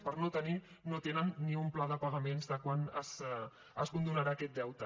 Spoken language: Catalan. per no tenir no tenen ni un pla de pagaments de quan es condonarà aquest deute